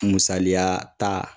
Musaliya ta